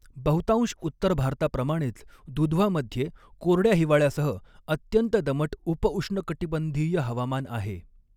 बहुतांश उत्तर भारताप्रमाणेच, दुधवामध्ये कोरड्या हिवाळ्यासह अत्यंत दमट उपउष्णकटिबंधीय हवामान आहे.